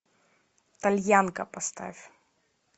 тальянка поставь